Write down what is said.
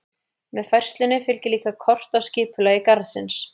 Með færslunni fylgir líka kort af skipulagi garðsins.